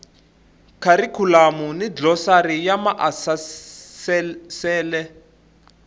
kharikhulamu ni glosari ya maasesele